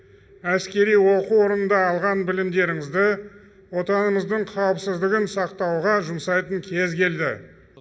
әскери оқу орындарында алған білімдеріңізді отанымыздың қауіпсіздігін сақтауға жұмсайтын кез келді